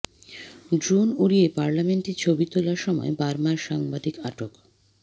drone উড়িয়ে পার্লামেন্টের ছবি তোলার সময় বার্মায় সাংবাদিক আটক